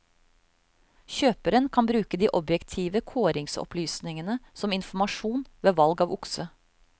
Kjøperen kan bruke de objektive kåringsopplysningene som informasjon ved valg av okse.